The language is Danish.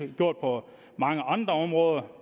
gjort på mange andre områder